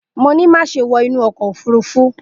Mo ni, maṣe wọ inu ọkọ ofurufu!